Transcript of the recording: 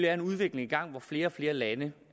er en udvikling i gang hvor flere og flere lande